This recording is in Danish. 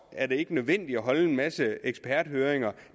er det ikke nødvendigt at holde en masse eksperthøringer